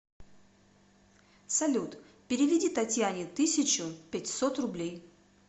салют переведи татьяне тысячу пятьсот рублей